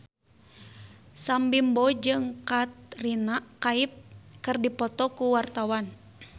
Sam Bimbo jeung Katrina Kaif keur dipoto ku wartawan